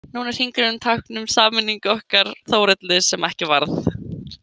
Nú er hringurinn tákn um sameiningu okkar Þórhöllu sem ekki varð.